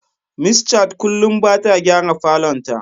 Miss Chat kullum bata gyara falon ta.